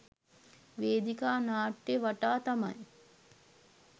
වේදිකා නාට්‍යය වටා තමයි